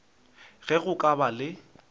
ge go ka ba le